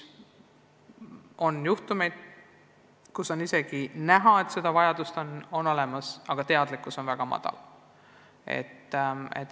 On juhtumeid, kus on selge, et mõni laps vajab tugispetsialisti abi, aga vanemate teadlikkus on väga madal.